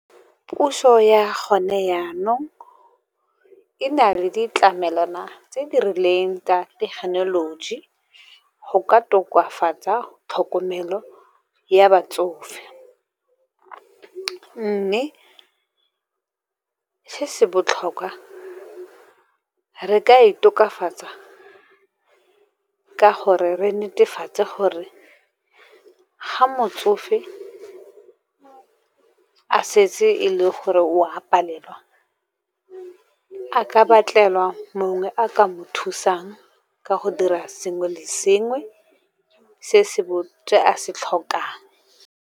Puso ya gone jaanong, e na le ditlamelwana tse di rileng, tsa thekenoloji go ka tokafatsa tlhokomelo ya batsofe. Mme se se botlhokwa re ka e tokafatsa ka gore re netefatse gore, ga motsofe a setse e le gore o a palelwa, a ka batlelwa mongwe a ka mo thusang ka go dira sengwe le sengwe se a se tlhokang.